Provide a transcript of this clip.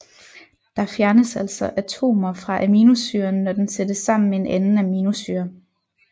Der fjernes altså atomer fra aminosyren når den sættes sammen med en anden aminosyre